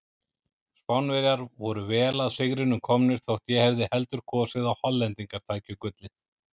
Spánverjar voru vel að sigrinum komnir þótt ég hefði heldur kosið að Hollendingar tækju gullið.